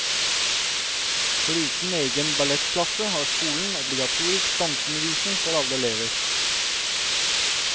Foruten egen ballettklasse har skolen obligatorisk danseundervisning for alle elever.